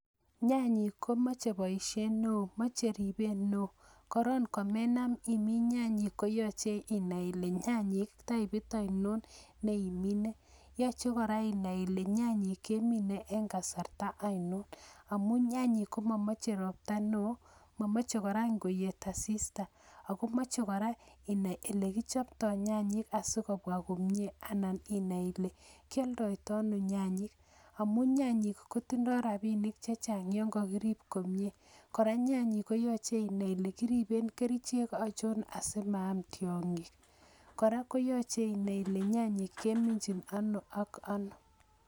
nyanyik komoche boiset neoo moche ribeet neoo koroon komenam imiin nyanyik komoche inai ile nyanyik taibit ainon neiminee, yoche koraa inai ile nyanyik kemine en kasarta ainon omun nyanyik komomoche ropta neoo momoche koraa ngoeet asista ago moche koraa inai ile kichoptoo nyanyik asikopwa komyee anan inai ile kyoldotoi ano nyanyiik omun nyanyik kotindo rapinik chengang yoon kogiriib komyee, koraa nyanyik koyoche inai ile kiriben kerichek achon asimaam tyongiik, koraa koyoche inai ile nyanyikkeminchin ano ak ano.